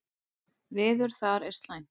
Veður þar er slæmt.